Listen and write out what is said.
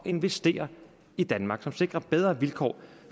investere i danmark og som sikrer bedre vilkår